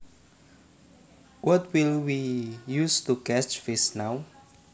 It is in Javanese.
What will we use to catch fish now